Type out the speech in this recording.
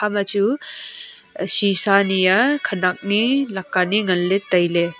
ekhama chu shisa niya khenak ni leka nie nganley tailey.